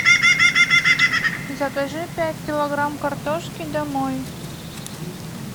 закажи пять килограмм картошки домой